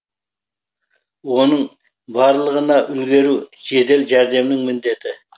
оның барлығына үлгеру жедел жәрдемнің міндеті